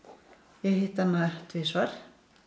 ég hitti hana tvisvar